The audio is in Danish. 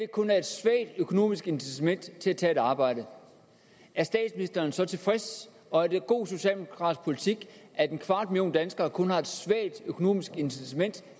kun er et svagt økonomisk incitament til at tage et arbejde er statsministeren så tilfreds og er det god socialdemokratisk politik at en kvart million danskere kun har et svagt økonomisk incitament